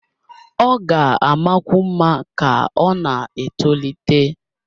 Ọ ga-amakwu mma ka ọ na-etolite